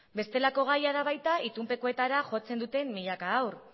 bestelako gaia da baita itunpekoetara jotzen duten milaka haur